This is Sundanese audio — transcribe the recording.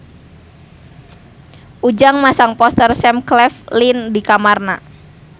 Ujang masang poster Sam Claflin di kamarna